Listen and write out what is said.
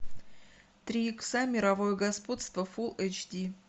три икса мировое господство фул эйч ди